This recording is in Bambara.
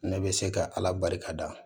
Ne bɛ se ka ala barikada